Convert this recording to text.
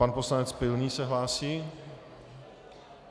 Pan poslanec Pilný se hlásí.